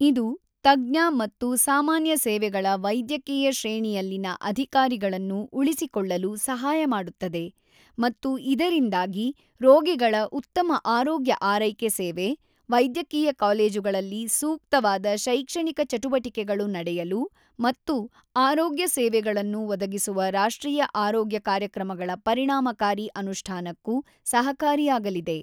ಇದು ತಜ್ಞ ಮತ್ತು ಸಾಮಾನ್ಯ ಸೇವೆಗಳ ವೈದ್ಯಕೀಯ ಶ್ರೇಣಿಯಲ್ಲಿನ ಅಧಿಕಾರಿಗಳನ್ನು ಉಳಿಸಿಕೊಳ್ಳಲು ಸಹಾಯ ಮಾಡುತ್ತದೆ ಮತ್ತು ಇದರಿಂದಾಗಿ ರೋಗಿಗಳ ಉತ್ತಮ ಆರೋಗ್ಯ ಆರೈಕೆ ಸೇವೆ, ವೈದ್ಯಕೀಯ ಕಾಲೇಜುಗಳಲ್ಲಿ ಸೂಕ್ತವಾದ ಶೈಕ್ಷಣಿಕ ಚಟುವಟಿಕೆಗಳು ನಡೆಯಲು ಮತ್ತು ಆರೋಗ್ಯ ಸೇವೆಗಳನ್ನು ಒದಗಿಸುವ ರಾಷ್ಟ್ರೀಯ ಆರೋಗ್ಯ ಕಾರ್ಯಕ್ರಮಗಳ ಪರಿಣಾಮಕಾರಿ ಅನುಷ್ಠಾನಕ್ಕೂ ಸಹಕಾರಿಯಾಗಲಿದೆ.